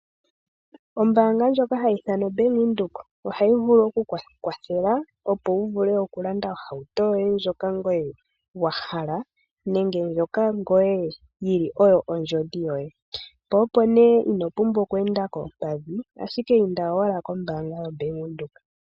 Ombaanga ndjoka hayi ithanwa oBank Windhoek ohayi vulu oku ku kwathela, opo wu vule okulanda ohauto yoye ndjoka ngoye wa hala nenge ndjoka ngoye yi li oyo ondjodhi yoye, po opo nee ino pumbwa oku enda koompadhi, ashike inda owala kombaanga yoBank Windhoek.